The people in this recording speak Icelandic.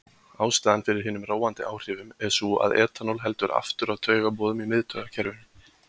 Ástæðan fyrir hinum róandi áhrifum er sú að etanól heldur aftur af taugaboðum í miðtaugakerfinu.